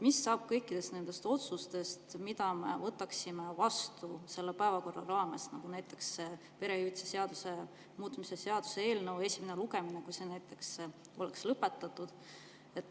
Mis saab kõikidest nendest otsustest, mida me selle päevakorra raames vastu võtame, nagu näiteks perehüvitiste seaduse muutmise seaduse eelnõu esimene lugemine, kui see lõpetatakse?